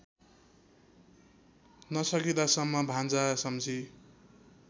नसकिदासम्म भान्जा सम्झी